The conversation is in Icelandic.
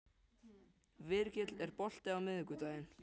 Virgill, er bolti á miðvikudaginn?